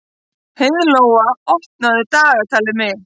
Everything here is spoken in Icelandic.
Heiðlóa, opnaðu dagatalið mitt.